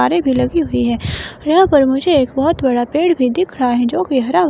आरी भी लगी हुई है यहाँ पर मुझे एक बहुत बड़ा पेड़ भी दिख रहा हैजो कि हरा--